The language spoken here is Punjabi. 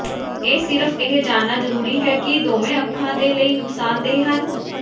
ਇਹ ਸਿਰਫ ਇਹ ਜਾਣਨਾ ਜ਼ਰੂਰੀ ਹੈ ਕਿ ਦੋਵੇਂ ਅੱਖਾਂ ਦੇ ਲਈ ਨੁਕਸਾਨਦੇਹ ਹਨ